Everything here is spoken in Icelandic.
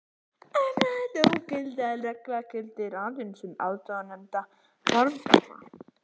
Umrædd ógildingarregla gildir aðeins um áðurnefnda formgalla.